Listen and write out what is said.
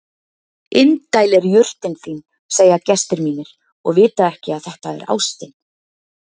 Indæl er jurtin þín segja gestir mínir og vita ekki að þetta er ástin.